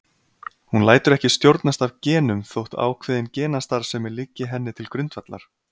Hún lætur ekki stjórnast af genum þótt ákveðin genastarfsemi liggi henni til grundvallar.